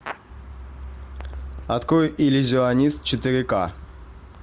открой иллюзионист четыре ка